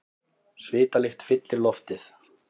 Svitalykt fyllir loftið.